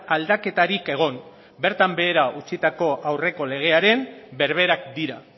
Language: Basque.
aldaketarik egon bertan behera utzitako aurreko legearen berberak dira